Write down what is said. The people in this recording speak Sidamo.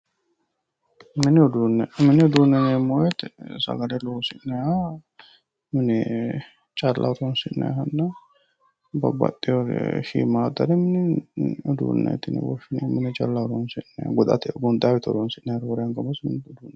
Mini uduune, mini uduune yineemmo woyte sagale loosi'nanniha mine calla horonsi'nannihanna babbaxeyewore shiimadare mini uduuneti yinne woshshineemmo mine calla horonsi'nanniha goxate gonxanni woyte horonsi'nanniha roore anga mini uduuneti.